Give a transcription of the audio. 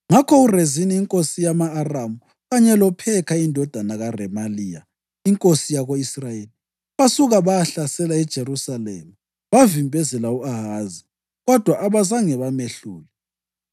Ngakho uRezini inkosi yama-Aramu kanye loPhekha indodana kaRemaliya inkosi yako-Israyeli basuka bayahlasela iJerusalema bavimbezela u-Ahazi, kodwa abazange bamehlule.